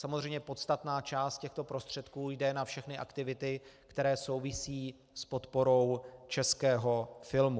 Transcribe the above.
Samozřejmě podstatná část těchto prostředků jde na všechny aktivity, které souvisí s podporou českého filmu.